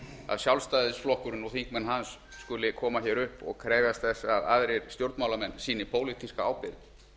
að sjálfstæðisflokkurinn og þingmenn hans skuli koma hér upp og krefjast þess að aðrir stjórnmálamenn sýni pólitíska ábyrgð